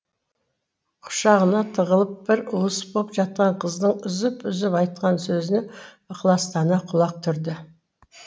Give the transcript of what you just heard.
құшағына тығылып бір уыс боп жатқан қыздың үзіп үзіп айтқан сөзіне ықыластана құлақ түрді